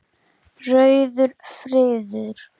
Rauður friður